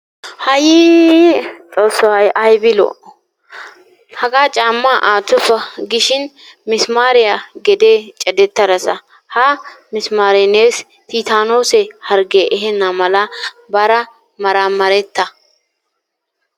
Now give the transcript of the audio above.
Haayyii xoosso ! hay ayibi lo"o ? hagaa caamma aattoppa giishshin mismaariya gedee cadetarasa. Ha mismaare neesi tiitaanoose harge ehennamala baara maramaretta.